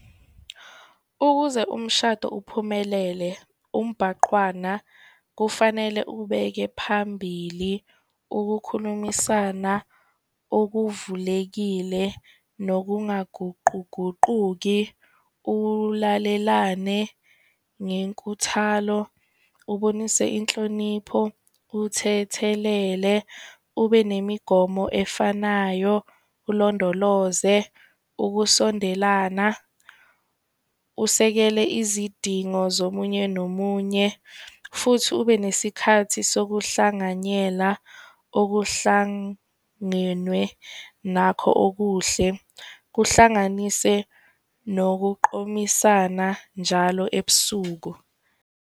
Ukuze umshado uphumelele umbhaqwana kufanele uwubeke phambili ukukhulumisana okuvulekile, nokungaguquguquki, uwulalelane ngenkuthalo, ubonise inhlonipho, uthethelele, ube nemigomo efanayo, ulondoloze ukusondelana. Usekele izidingo zomunye nomunye futhi ube nesikhathi sokuhlanganyela okuhlangenwe nakho okuhle, kuhlanganise nokuqomisana njalo ebusuku.